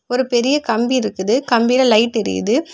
ஒரு பெரிய கம்பி இருக்குது கம்பில லைட் எரியிது.